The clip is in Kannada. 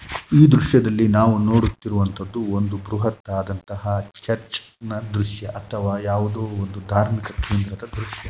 ಈ ದೃಶ್ಯದಲ್ಲಿ ನಾವು ನೋಡುತ್ತಿರುವುದು ಒಂದು ಬೃಹತ್‌ ಆದಂತಹ ಚರ್ಚ್‌ ನ ದೃಶ್ಯ ಅಥವಾ ಯಾವುದೋ ಒಂದು ಧಾರ್ಮಿಕ ದೃಶ್ಯ.